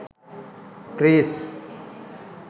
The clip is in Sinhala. trees